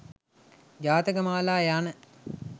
ජාතකමාලා යන